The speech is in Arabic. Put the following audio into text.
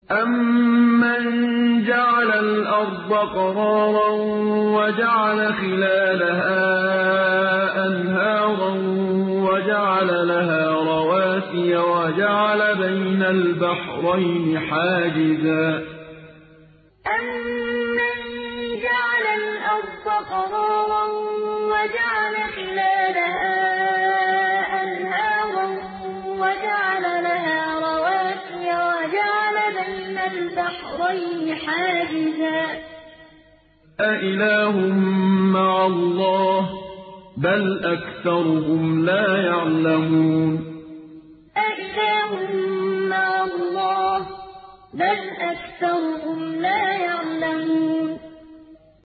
أَمَّن جَعَلَ الْأَرْضَ قَرَارًا وَجَعَلَ خِلَالَهَا أَنْهَارًا وَجَعَلَ لَهَا رَوَاسِيَ وَجَعَلَ بَيْنَ الْبَحْرَيْنِ حَاجِزًا ۗ أَإِلَٰهٌ مَّعَ اللَّهِ ۚ بَلْ أَكْثَرُهُمْ لَا يَعْلَمُونَ أَمَّن جَعَلَ الْأَرْضَ قَرَارًا وَجَعَلَ خِلَالَهَا أَنْهَارًا وَجَعَلَ لَهَا رَوَاسِيَ وَجَعَلَ بَيْنَ الْبَحْرَيْنِ حَاجِزًا ۗ أَإِلَٰهٌ مَّعَ اللَّهِ ۚ بَلْ أَكْثَرُهُمْ لَا يَعْلَمُونَ